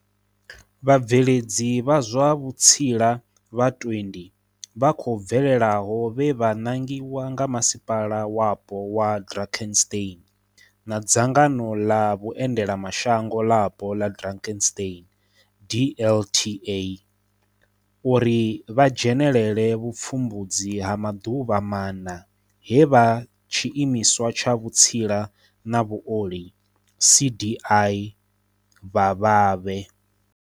vhabveledzi vha zwa vhutsila vha 20 vha khou bvelelaho vhe vha nangiwa nga Masipala Wapo wa Drakenstein na Dzangano ḽa Vhuendelamashango Ḽapo ḽa Drakenstein DLTA, u ri vha dzhenele vhupfumbudzi ha maḓuvha maṋa he vha Tshiimiswa tsha Vhutsila na Vhuoli CDI vha vha vhe.